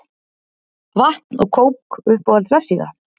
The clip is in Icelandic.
Vatn og kók Uppáhalds vefsíða?